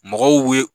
Mɔgɔw ye